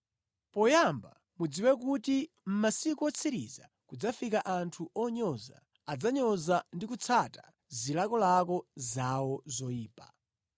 Poyamba mudziwe kuti mʼmasiku otsiriza kudzafika anthu onyoza, adzanyoza ndi kutsata zilakolako zawo zoyipa.